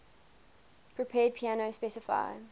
prepared piano specify